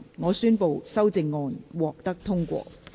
我宣布修正案獲得通過。